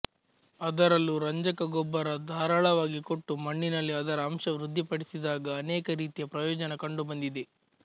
ಅದರಲ್ಲೂ ರಂಜಕ ಗೊಬ್ಬರ ಧಾರಾಳವಾಗಿ ಕೊಟ್ಟು ಮಣ್ಣಿನಲ್ಲಿ ಅದರ ಅಂಶ ವೃದ್ಧಿ ಪಡಿಸಿದಾಗ ಅನೇಕ ರೀತಿಯ ಪ್ರಯೋಜನ ಕಂಡು ಬಂದಿದೆ